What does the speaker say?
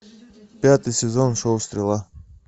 пятый сезон шоу стрела